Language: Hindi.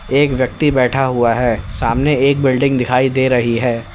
एक व्यक्ति बैठा हुआ है सामने एक बिल्डिंग दिखाई दे रही है।